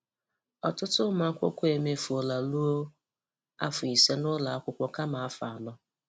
Ọtụtụ ụmụakwụkwọ emefuola ruo afọ ise na ụlọ akwụkwọ kama afọ anọ.